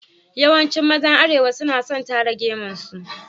Yawancin mazan Arewa suna son tara gemun su.